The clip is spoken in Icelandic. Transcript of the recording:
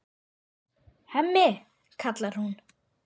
Hemmi, kallar hún.